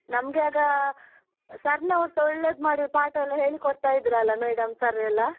ನಮ್ಗೆ ಆಗ sir ನವರ್ಸ ಒಳ್ಳೇದ್ ಮಾಡಿ ಪಾಠ ಹೇಳಿಕೊಡ್ತಾ ಇದ್ರಲ್ಲ, madam, sir ಎಲ್ಲ.